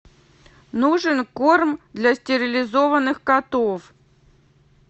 нужен корм для стерилизованных котов